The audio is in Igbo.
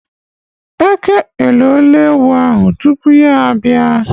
Eke eloole ewu ahu tupu ya abịa.